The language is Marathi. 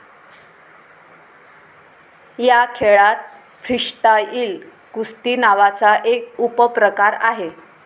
या खेळात फ्रीस्टाईल कुस्ती नावाचा एक उपप्रकार आहे.